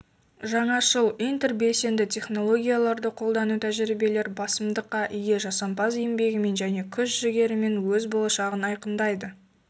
жаңашыл интербелсенді технологияларды қолдану тәжірибелері басымдыққа ие жасампаз еңбегімен және күш-жігерімен өз болашағын айқындайды